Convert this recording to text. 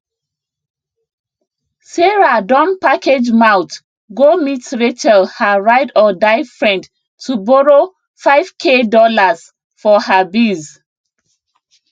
[] sarah don package mouth go meet rachel her rideor die friend to borrow five k dollars for her biz